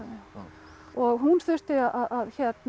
og hún þurfti að